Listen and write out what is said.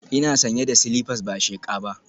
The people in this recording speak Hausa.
Ina sanye da silifas ba sheqa ba